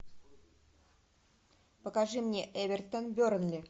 покажи мне эвертон бернли